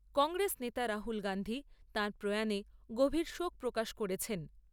কংগ্রেস নেতা রাহুল গান্ধী তাঁর প্রয়াণে গভীর শোক প্রকাশ করেছেন।